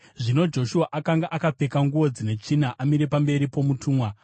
Zvino Joshua akanga akapfeka nguo dzine tsvina amire pamberi pomutumwa.